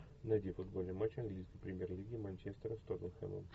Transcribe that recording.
найди футбольный матч английской премьер лиги манчестера с тоттенхэмом